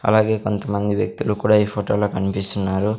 అలాగే కొంతమంది వ్యక్తులు కూడా ఈ ఫోటోలో కనిపిస్తున్నారు.